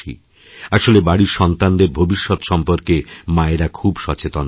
আসলেবাড়ির সন্তানদের ভবিষ্যত সম্পর্কে মায়েরা খুব সচেতন থাকেন